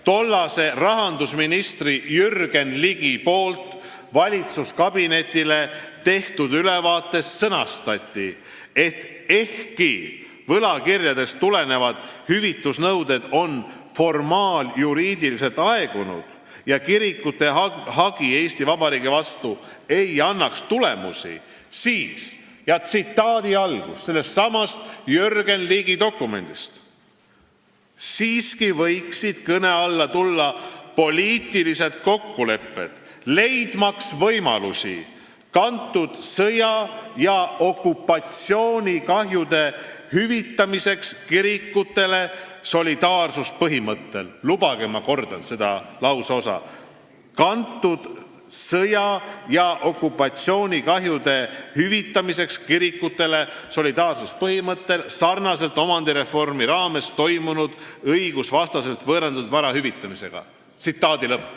Tollane rahandusminister Jürgen Ligi tegi valitsuskabinetile ülevaate, kus sõnastati, et ehkki võlakirjadest tulenevad hüvitusnõuded on formaaljuriidiliselt aegunud ja kirikute hagi Eesti Vabariigi vastu ei annaks tulemusi, "siiski võiksid kõne alla tulla poliitilised kokkulepped leidmaks võimalusi kantud sõja- ja okupatsioonikahjude hüvitamiseks kirikutele solidaarsuspõhimõttel", lubage, et ma kordan seda lauseosa, "kantud sõja- ja okupatsioonikahjude hüvitamiseks kirikutele solidaarsuspõhimõttel, sarnaselt omandireformi raames toimunud õigusvastaselt võõrandatud vara hüvitamisega".